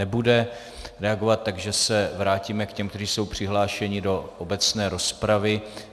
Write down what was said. Nebude reagovat, takže se vrátíme k těm, kteří jsou přihlášeni do obecné rozpravy.